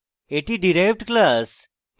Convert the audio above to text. এটি derived class